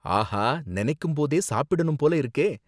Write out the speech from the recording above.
ஆஹா, நினைக்கும் போதே சாப்பிடணும் போல இருக்கே.